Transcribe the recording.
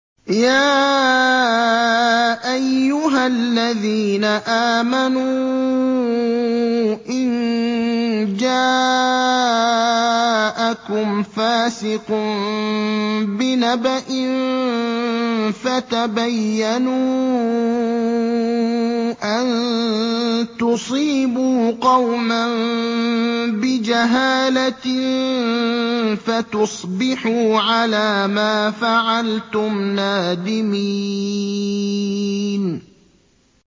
يَا أَيُّهَا الَّذِينَ آمَنُوا إِن جَاءَكُمْ فَاسِقٌ بِنَبَإٍ فَتَبَيَّنُوا أَن تُصِيبُوا قَوْمًا بِجَهَالَةٍ فَتُصْبِحُوا عَلَىٰ مَا فَعَلْتُمْ نَادِمِينَ